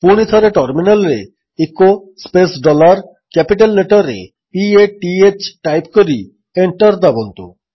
ପୁଣିଥରେ ଟର୍ମିନାଲ୍ରେ echo space dollar capital ଲେଟର୍ରେ p a t ହ୍ ଟାଇପ୍ କରି ଏଣ୍ଟର୍ ଦାବନ୍ତୁ